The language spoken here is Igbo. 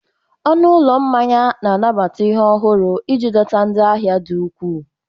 Ọnụ ụlọ mmanya na-anabata ihe ọhụrụ iji dọta ndị ahia di ukwuu.